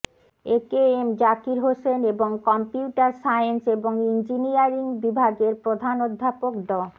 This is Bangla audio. এ কে এম জাকির হোসেন এবং কম্পিউটার সায়েন্স এবং ইঞ্জিনিয়ারিং বিভাগের প্রধান অধ্যাপক ড